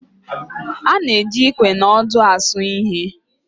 A na-eji Ikwe na ọdụ asụ ihe